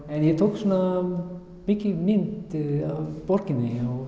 en ég tók svona mikið myndir af borginni